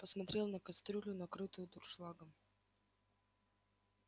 посмотрел на кастрюлю накрытую дуршлагом